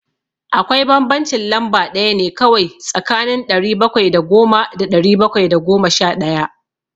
Akwai bambancin lamba ɗaya ne kawai tsakanin ɗari bakwai da goma da ɗari bakwai da goma sha ɗaya.